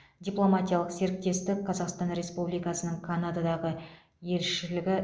дипломатиялық серіктестік қазақстан республикасының канададағы елшілігі